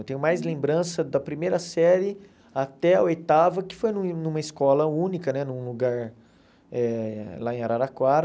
Eu tenho mais lembranças da primeira série até a oitava, que foi no numa escola única né, num lugar eh lá em Araraquara.